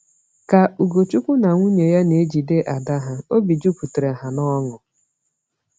Ka Ugochukwu na nwunye ya na-ejide ada ha, obi jupụtara ha n’ọṅụ.